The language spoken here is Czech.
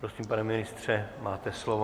Prosím, pane ministře, máte slovo.